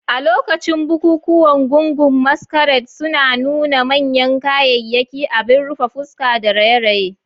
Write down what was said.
A lokacin bukukuwan, gungun maskrade suna nuna manyan kayayyaki, abin rufe fuska, da raye-raye.